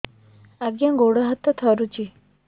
ଆଜ୍ଞା ଗୋଡ଼ ହାତ ଥରୁଛି